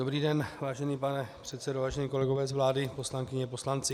Dobrý den, vážený pane předsedo, vážení kolegové z vlády, poslankyně, poslanci.